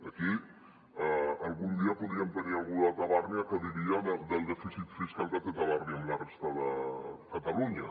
aquí algun dia podríem tenir algú de tabàrnia que diria del dèficit fiscal que té tabàrnia amb la resta de catalunya